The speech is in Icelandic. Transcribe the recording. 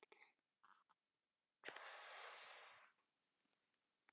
Takk fyrir að elska mig.